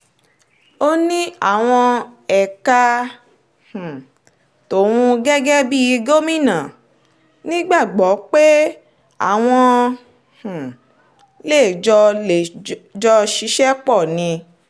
ó ní àwọn ẹ̀ka um tóun gẹ́gẹ́ bíi gómìnà nígbàgbọ́ pé àwọn um lè jọ lè jọ ṣiṣẹ́ pọ̀ ni